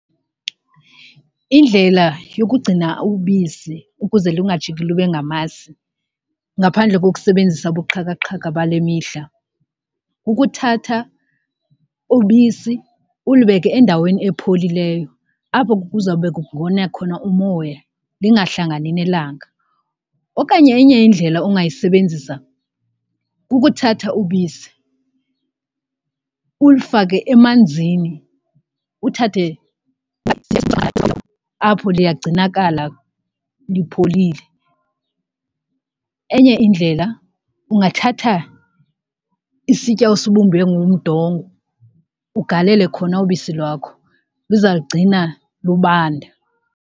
Indlela yokugcina ubisi ukuze lungajiki lube ngamasi ngaphandle kokusebenzisa ubuxhakaxhaka bale mihla kukuthatha ubisi ulibeke endaweni epholileyo apho kuza kube kungona khona umoya lingahlangani nelanga. Okanye enye indlela ongayisebenzisa kukuthatha ubisi ulifake emanzini uthathe apho liyagcinakala lipholile, enye indlela ungathatha isitya osibumbe ngomdongo ugalele khona ubisi lwakho luzalugcina lubanda.